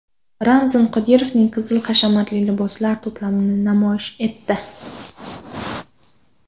Ramzan Qodirovning qizi hashamatli liboslar to‘plamini namoyish etdi.